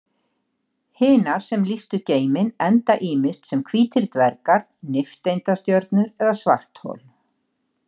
Hinar sem lýstu geiminn enda ýmist sem hvítir dvergar, nifteindastjörnur eða svarthol.